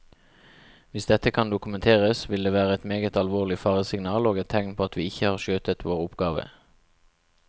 Hvis dette kan dokumenteres, vil det være et meget alvorlig faresignal og et tegn på at vi ikke har skjøttet vår oppgave.